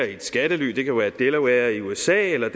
i et skattely det kan være delaware i usa eller